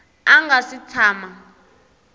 a a nga si tshama